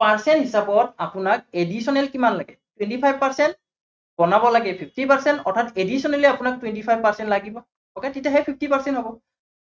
percent হিচাপত আপোনাক additional কিমান লাগে, twenty five percent বনাব লাগে fifty percent অৰ্থাত additionaly আপোনাক twenty five percent লাগিব okay তেতিয়াহে fifty percent হব,